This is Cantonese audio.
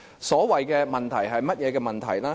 所謂的"問題"是甚麼問題呢？